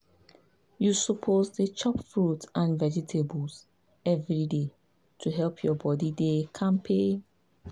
you suppose dey chop fruit and vegetables every day to help your body to dey kampe.